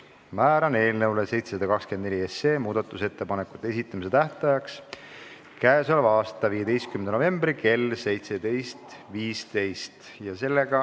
Määran eelnõu 724 muudatusettepanekute esitamise tähtajaks k.a 15. novembri kell 17.15.